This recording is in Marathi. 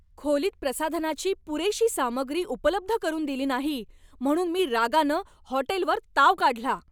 खोलीत प्रसाधनाची पुरेशी सामग्री उपलब्ध करून दिली नाही म्हणून मी रागानं हॉटेलवर ताव काढला.